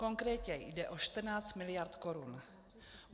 Konkrétně jde o 14 mld. korun.